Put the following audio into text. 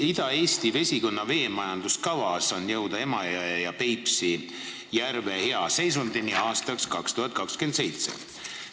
Ida-Eesti vesikonna veemajanduskavas on kirjas eesmärk jõuda Emajõe ja Peipsi järve hea seisundini aastaks 2027.